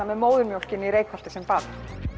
með móðurmjólkinni í Reykholti sem barn